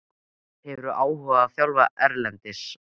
Hefðirðu áhuga á að þjálfa erlendis?